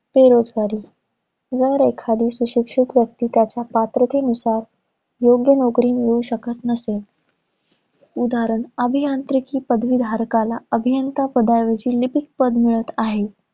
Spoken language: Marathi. बेरोजगारी. जर एखादी सुशिक्षित व्यक्ती त्याच्या पात्रतेनुसार, योग्य नोकरी मिळवू शकत नसेल. उदाहरण, अभियांत्रिकी पदाविधारकला, अभियंता पदाऐवजी लिपिक पद मिळत आहे.